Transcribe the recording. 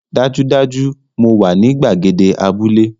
Dájúdájú! Mo wà ní gbàgede abúlé